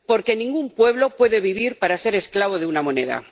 Porque ningún pueblo puede vivir para ser esclavo de una moneda.